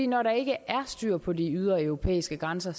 når der ikke er styr på de ydre europæiske grænser